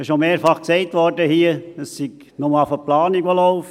Es wurde hier schon mehrfach gesagt, es sei bloss erst die Planung, die laufe.